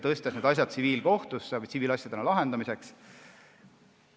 Need asjad läksid tsiviilkohtusse, tsiviilasjadena lahendamiseks.